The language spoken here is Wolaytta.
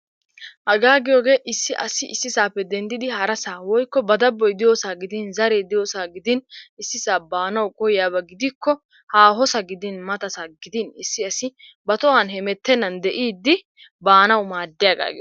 Hagaa giyogee issi asi issisaappe denddidi harasaa woykko ba dabboy diyosaa gidin zaree diyosaa gidin issisaa baanawu koyyiyaba gidikko haahosa gidin matasa gidin issi asi ba tohuwan hemettennan de'iiddi baanawu maaddiyagaa giyogaa.